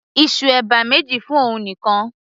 ìsù ẹ̀bà méjì fún òun nìkan